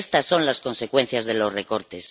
Estas son las consecuencias de los recortes.